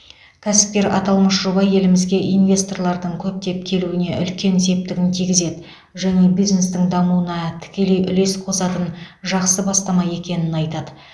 кәсіпкер аталмыш жоба елімізге инвесторлардың көптеп келуіне үлкен септігін тигізеді және бизнестің дамуына тікелей үлес қосатын жақсы бастама екенін айтады